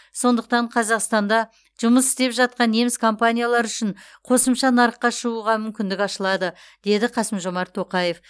сондықтан қазақстанда жұмыс істеп жатқан неміс компаниялары үшін қосымша нарыққа шығуға мүмкіндік ашылады деді қасым жомарт тоқаев